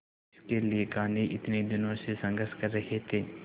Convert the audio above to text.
जिसके लिए गांधी इतने दिनों से संघर्ष कर रहे थे